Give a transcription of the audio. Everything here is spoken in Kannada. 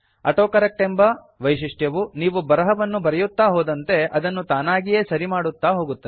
ಆಟೋಕರೆಕ್ಟ್ ಎಂಬ ವೈಶಿಷ್ಟ್ಯವು ನೀವು ಬರಹವನ್ನು ಬರೆಯುತ್ತಾ ಹೋದಂತೆ ಅದನ್ನು ತಾನಾಗಿಯೇ ಸರಿಮಾಡುತ್ತಾ ಹೋಗುತ್ತದೆ